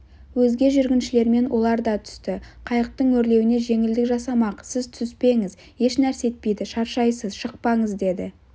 өзге жүргіншілермен олар да түсті қайықтың өрлеуіне жеңілдік жасамақ сіз түспеңіз ешнәрсе етпейді шаршайсыз шықпаңыз деді